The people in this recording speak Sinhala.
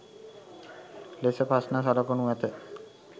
ලෙස ප්‍රශ්න සකසනු ඇත.